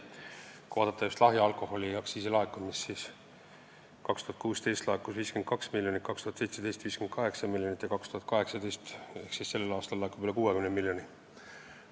Kui vaadata just lahja alkoholi aktsiisi laekumist, siis 2016. aastal laekus 52 miljonit, 2017. aastal 58 miljonit ja 2018 ehk sellel aastal laekub üle 60 miljoni.